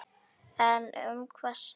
En um hvað snerist deilan?